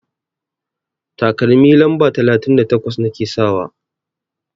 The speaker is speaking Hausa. Takalmi lamba talatin da takwas nake sakawa.